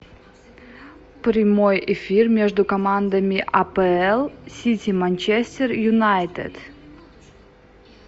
прямой эфир между командами апл сити манчестер юнайтед